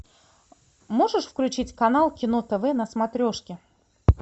можешь включить канал кино тв на смотрешке